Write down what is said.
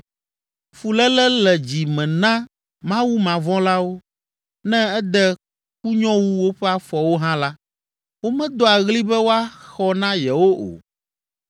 “Fuléle le dzi me na Mawumavɔ̃lawo, ne ede kunyowu woƒe afɔwo hã la, womedoa ɣli be woaxɔ na yewo o.